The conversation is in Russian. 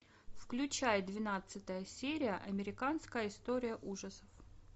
включай двенадцатая серия американская история ужасов